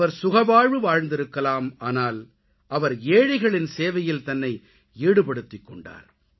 அவர் சுகவாழ்வு வாழ்ந்திருக்கலாம் ஆனால் அவர் ஏழைகளின் சேவையில் தன்னை ஈடுபடுத்திக்கொண்டார்